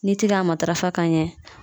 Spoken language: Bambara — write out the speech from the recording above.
N'i ti ka matarafa ka ɲɛ